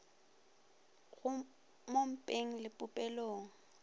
go mo mpeng le popelong